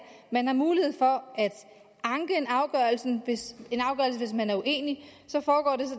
at man har mulighed for at anke en afgørelse hvis man er uenig